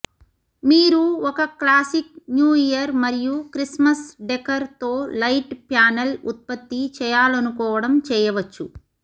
మీరు ఒక classic New Year మరియు క్రిస్మస్ డెకర్ తో లైట్ ప్యానెల్ ఉత్పత్తి చేయాలనుకోవడం చేయవచ్చు